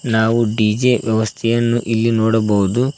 ನಾವು ಡಿ_ಜೆ ವ್ಯವಸ್ಥೆಯನ್ನು ಇಲ್ಲಿ ನೋಡಬಹುದು.